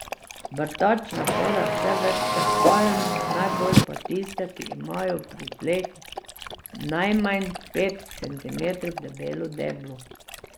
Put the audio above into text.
Vrtač napada vse vrste palm, najbolj pa tiste, ki imajo pri tleh najmanj pet centimetrov debelo deblo.